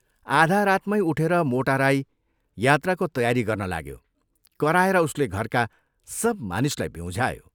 आधा रातमै उठेर मोटा राई यात्राको तयारी गर्न लाग्यो कराएर उसले घरका सब मानिसलाई ब्यूँझायो।